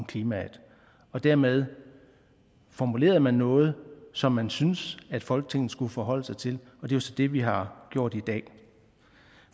klimaet dermed formulerede man noget som man syntes at folketinget skulle forholde sig til og det er så det vi har gjort i dag